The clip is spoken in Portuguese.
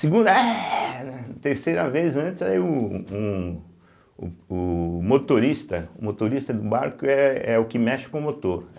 Segunda éhh... né. Terceira vez, antes, aí o um o o motorista o motorista do barco é é o que mexe com motor.